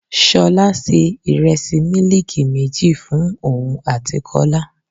Ṣolá se Ìrẹsì mílíìkì méjì fún òun àti Kọ́lá.